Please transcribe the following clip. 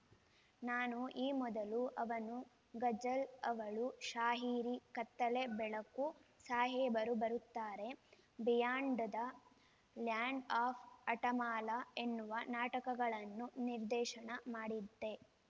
ನಾನು ಈ ಮೊದಲು ಅವನು ಗಜಲ್‌ ಅವಳು ಶಾಹಿರಿ ಕತ್ತಲೆ ಬೆಳೆಕು ಸಾಹೇಬರು ಬರುತ್ತಾರೆ ಬಿಹ್ಯಾಂಡ್‌ ದ ಲ್ಯಾಂಡ್‌ ಆಫ್‌ ಹಠಮಾಲ ಎನ್ನುವ ನಾಟಕಗಳನ್ನು ನಿರ್ದೇಶನ ಮಾಡಿದ್ದೆ